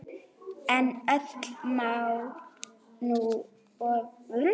En öllu má nú ofgera.